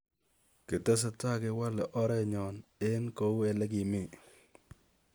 kitesetai kewale oreet nyon eng kou leu legemi